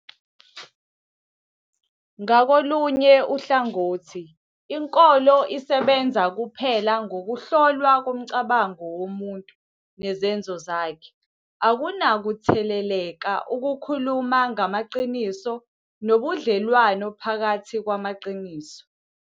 Ngakolunye uhlangothi, inkolo, isebenza kuphela ngokuhlolwa komcabango womuntu nezenzo zakhe, akunakuthetheleleka ukukhuluma ngamaqiniso nobudlelwano phakathi kwamaqiniso